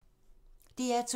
DR2